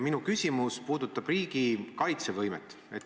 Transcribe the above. Minu küsimus puudutab riigi kaitsevõimet.